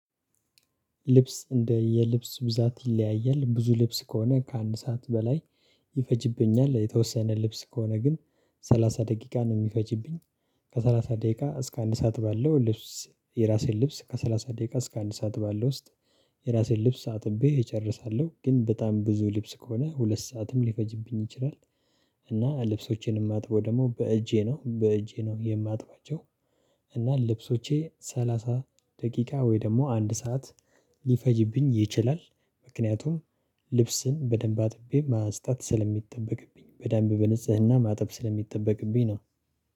ልብስ እንደ የልብስ ብዛት ይለያያል ብዙ ልብስ ከሆነ ከአንድ ሰዓት በላይ ይፈጅብኛል የተወሰነ ልብስ ከሆነ ግን ሰላሳ ደቂቃ ነው የሚፈጅብኝ። ከሠላሳ ደቂቃ እስከ አንድ ሰዓት ባለው ልብስ የራሴን ልብስ ከሰላሳ ደቂቃ እስከ አንድ ሰዓት ባለው ውስጥ። የራሴን ልብስ አጥቤ እጨርሳለሁ ግን በጣም ብዙ ልብስ ከሆነ ሁለት ሰዓትም ሊፈጅብኝ ይችላል። እና ልብሶቼን የማጥበው ደግሞ በእጄ ነው በእጄ ነው የማጥባቸው። እና ልብሶቼ ሰላሳ ደቂቃ ወይ ደግሞ አንድ ሰዓት ሊፈጅብኝ ይችላል። ምክንያቱም ልብስን በደንብ አጥቤ ማስጣት ስለሚጠበቅብኝ በደንብ በንጽህና ማጠብ ስለሚጠበቅብኝ ነው